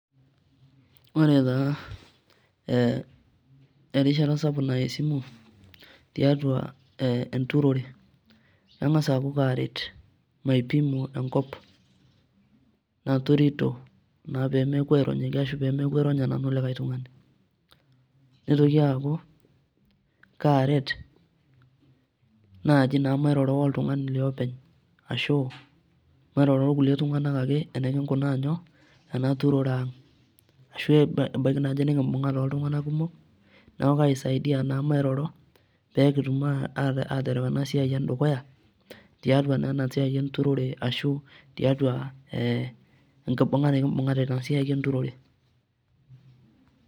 Oretaa ee erishata sapuk naya esimu tiatua e enturore kengas aaku karet maipimo enkop naturito naa pemeaku aironyaki ashu pemeaku aironya nanu likae tungani nitoki aaku kaaret naji mairoro oltungani liopeny ashu mairoro orkulie tunganak ake enikikunaa nyoo enaturore ang ashu ebaiki naji nikimbungate oltunganak kumok , niaku kaisaidia naa mairoro pekitum atereu ena siai ang dukuya tiatua naa enasiai enturore ashu tiatua enkibunga ,ee enkibunga nekibunga tiatua enasiai enturore.